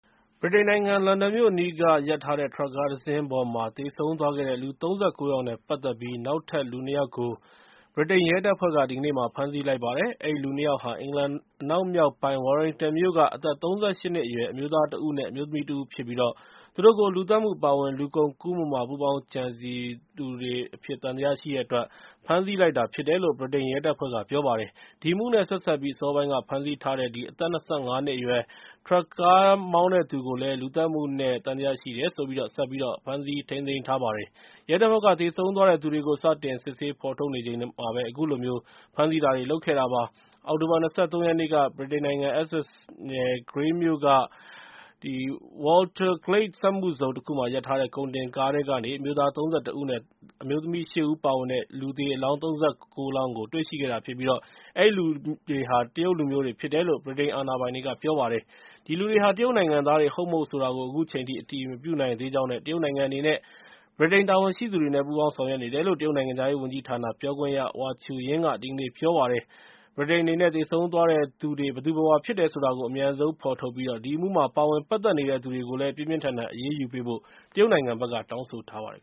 ဗြိတိန်နိုင်ငံ လန်ဒန်မြို့အနီးက ရပ်ထားတဲ့ ထရပ်ကား တစင်းပေါ်မှာ သေဆုံးသွားခဲ့တဲ့ လူ ၃၉ ယောက်နဲ့ ပတ်သက်ပြီး နောက်ထပ် လူ ၂ ယောက်ကို ဗြိတိန်ရဲတပ်ဖွဲ့က ဒီကနေ့မှာ ဖမ်းဆီးလိုက်ပါတယ်။ အဲဒီလူ ၂ ယောက်ဟာ အင်္ဂလန် အနောက်မြောက်ပိုင်း Warrington မြို့က အသက် ၃၈ နှစ်အရွယ် အမျိုးသားတဦး နဲ့ အမျိုးသမီးတဦးဖြစ်ပြီး သူတို့ကို လူသတ်မှု အပါအဝင် လူကုန်ကူးမှုမှာ ပူးပေါင်းကြံစည်မှုတွေ သံသယရှိတဲ့အတွက် ဖမ်းဆီးလိုက်တာ ဖြစ်တယ်လို့ ဗြိတိန်ရဲတပ်ဖွဲ့က ပြောပါတယ်။ ဒီအမှု နဲ့ ဆက်စပ်ပြီး အစောပိုင်းက ဖမ်းဆီးထားတဲ့ အသက် ၂၅ နှစ်အရွယ် ထရပ်ကားမောင်းတဲ့သူကိုလည်း လူသတ်မှုနဲ့ သံသယရှိလို့ဆိုပြီး ဆက်ပြီးတော့ ဖမ်းဆီးထားပါတယ်။ ရဲတပ်ဖွဲ့က သေဆုံးသွားတဲ့သူတွေကို စတင် စစ်ဆေးဖော်ထုတ်နေတဲ့အချိန်မှာပဲ အခုလိုမျိုး ဖမ်းဆီးတာတွေ လုပ်ခဲ့တာဖြစ်ပါတယ်။ အောက်တိုဘာလ ၂၃ ရက်နေ့က ဗြိတိန်နိုင်ငံ Essex နယ် Grays မြို့က Waterglade စက်မှုဇုန်တခုမှာ ရပ်ထားတဲ့ ကုန်တင်ကားထဲကနေ အမျိုသား ၃၁ ဦး အမျိုးသမီး ၈ ဦး ပါဝင်တဲ့ လူသေအလောင်း ၃၉ တွေ့ရှိခဲ့တာဖြစ်ပြီး အဲဒီလူတွေဟာ တရုတ်လူမျိုးတွေဖြစ်တယ်လို့ ဗြိတိန်အာဏာပိုင်တွေက ပြောပါတယ်။ အဲဒီလူတွေဟာ တရုတ်နိုင်ငံသားတွေ ဟုတ်မဟုတ်ဆိုတာကို အခုချိန်ထိ အတည်မပြုနိုင် သေးကြောင်း နဲ့ တရုတ်နိုင်ငံအနေနဲ့ ဗြိတိန်တာဝန်ရှိသူတွေနဲ့ ပူးပေါင်းဆောင်ရွက်နေတယ်လို့ တရုတ်နိုင်ငံခြားရေးဝန်ကြီးဌာန ပြောခွင့်ရ Hua Chunying က ဒီကနေ့ ပြောကြားလိုက်ပါတယ်။ ဗြိတိန်အနေနဲ့ သေဆုံးသွားတဲ့သူတွေ ဘယ်သူဘယ်ဝါဖြစ်တယ်ဆိုတာကို အမြန်ဆုံး ဖော်ထုတ်ပြီး ဒီအမှုမှာ ပါဝင်ပတ်သက်နေတဲ့သူတွေကို ပြင်းပြင်းထန်ထန် အရေးယူပေးဖို့ တရုတ်နိုင်ငံဘက်က တောင်းဆိုထားပါတယ်